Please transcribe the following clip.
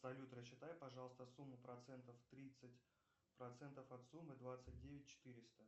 салют рассчитай пожалуйста сумму процентов тридцать процентов от суммы двадцать девять четыреста